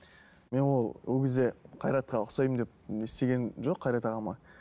мен ол ол кезде қайратқа ұқсаймын деп не істегемін жоқ қайрат ағама